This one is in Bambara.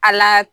Ala